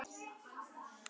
Hann er brotinn og ónýtur.